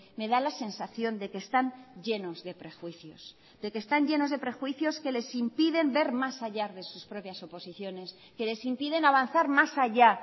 me da la sensación de que están llenos de prejuicios de que están llenos de prejuicios que les impiden ver más allá de sus propias suposiciones que les impiden avanzar más allá